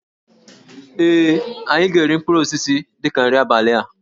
Ee, anyị ga-eri mkpụrụ osisi dị ka nri abalị a